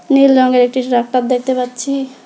নীল রঙের একটি দেখতে পাচ্ছি।